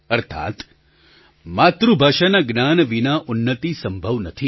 અર્થાત માતૃભાષાના જ્ઞાન વિના ઉન્નતિ સંભવ નથી